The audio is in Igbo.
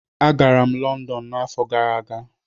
Agara m Lọndọn n'afọ gara aga